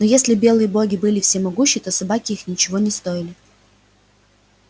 но если белые боги были всемогущи то собаки их ничего не стоили